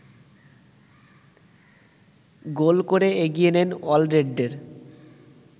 গোল করে এগিয়ে নেন অলরেডদের